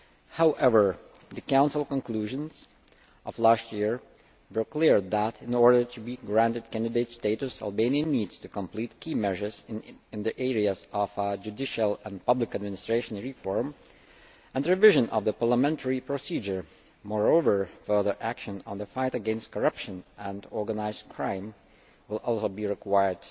However, the Council conclusions of last year were clear that, in order to be granted candidate status, Albania needs to complete key measures in the areas of judicial and public administration reform and revision of the parliamentary procedure. Moreover, further action on the fight against corruption and organised crime will also be required.